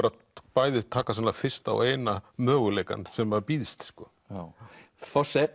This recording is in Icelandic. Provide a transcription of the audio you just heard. bæði taka fyrsta og eina möguleikann sem að býðst sko